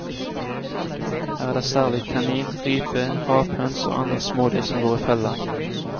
Her er det særlig kanin, rype, rapphøns og andre smådyr som går i fella.